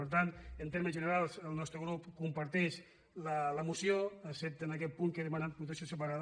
per tant en termes generals el nostre grup comparteix la moció excepte en aquest punt del qual he demanat votació separada